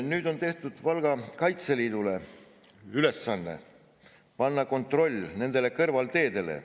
Nüüd on tehtud Valga kaitseliitlastele ülesandeks panna kontroll nendele kõrvalteedele.